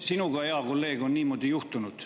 Sinuga, hea kolleeg, on niimoodi juhtunud.